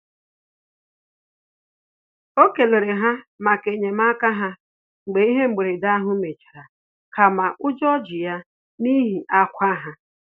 O kelere ha maka enyemaka ha mgbe ihe mberede ahụ mechara kama ụjọ ji ya n'ihi akwa ha